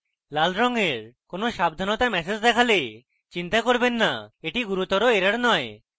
লাল রঙের কোনো সাবধানতা ম্যাসেজ দেখলে চিন্তা করবেন না এটি গুরুতর error নয়